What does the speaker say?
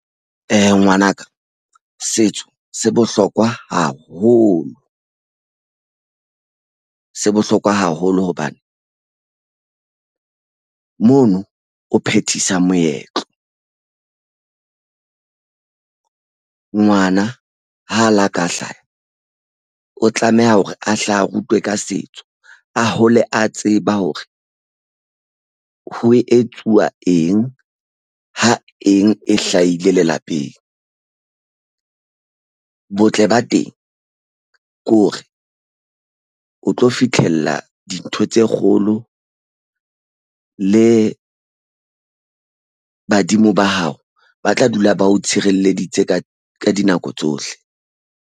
Ngwanaka setso se bohlokwa haholo. Se bohlokwa haholo hobane mono o phethisa moetlo. Ngwana ha a la ka hlaha, o tlameha hore a hle a rutwe ka setso. A hole a tseba hore ho etsuwa eng ha eng e hlahile lelapeng. Botle ba teng ko re o tlo fitlhella dintho tse kgolo le badimo ba hao. Ba tla dula ba o tshireleditse ka dinako tsohle.